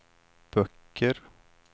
böcker